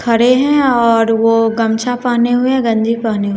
खड़े हैं और वो गमछा पहने हुए हैं गंजी पहने हुए--